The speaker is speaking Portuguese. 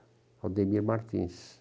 O Aldemir Martins.